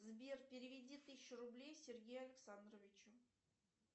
сбер переведи тысячу рублей сергею александровичу